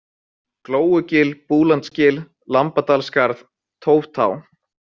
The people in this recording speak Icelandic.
Glóugil, Búlandsgil, Lambadalsskarð, Tóftá